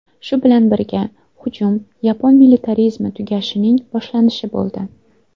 Shu bilan birga, hujum yapon militarizmi tugashining boshlanishi bo‘ldi.